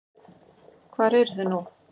Hvar eru þið nú?